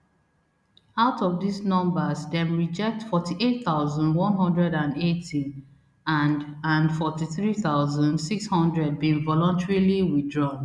out of dis numbers dem reject forty-eight thousand, one hundred and eighty and and forty-three thousand, six hundred bin voluntarily withdrawn